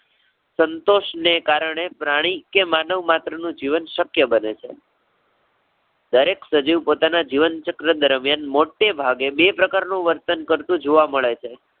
સંતોષ ને કારણે પ્રાણી કે માનવ માત્ર નું જીવન શક્ય બને છે. દરેક સજીવ પોતાના જીવનચક્ર દરમ્યાન મોટેભાગે બે પ્રકારનું વર્તન કરતું જોવા મળે છે.